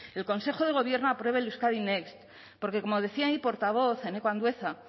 el consejo de gobierno apruebe el euskadi next porque como decía mi portavoz eneko andueza